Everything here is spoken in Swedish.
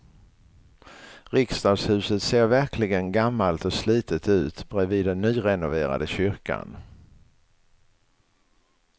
Riksdagshuset ser verkligen gammalt och slitet ut bredvid den nyrenoverade kyrkan.